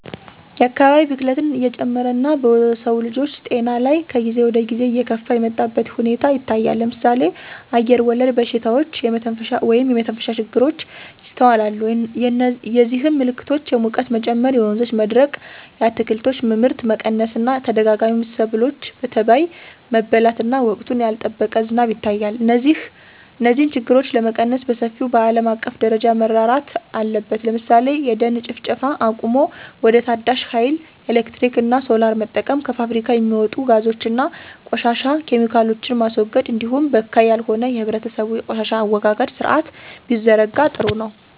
የአካባቢ ብክለት እየጨመረ እና በሰውልጆች ጤና ላይ ከጊዜ ወደጊዜ እየከፋ የመጣበት ሁኔታ ይታያል ለምሳሌ አየርወለድ በሽታዎች (የመተንፈሻ ችግሮች) ይስተዋላሉ የዚህም ምልክቶች የሙቀት መጨመር የወንዞች መድረቅ የአትክልቶች ምርት መቀነስ እና ተደጋጋሚ ሰብሎች በተባይ መበላት እና ወቅቱን ያልጠበቀ ዝናብ ይታያል። እነዚህን ችግሮች ለመቀነስ በሰፊው በአለም አቀፍ ደረጃ መረራት አለበት ለምሳሌ የደን ጭፍጨፋ አቁሞ ወደ ታዳሽ ሀይል ኤሌክትሪክ እና ሶላር መጠቀም። ከፋብሪካ የሚወጡ ጋዞች እና ቆሻሻ ኬሚካሎችን ማስወገድ እንዲሁም በካይ ያልሆነ የህብረተሰቡ የቆሻሻ አወጋገድ ስርአት ቢዘረጋ ጥሩ ነው።